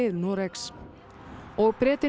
Noregs og Bretinn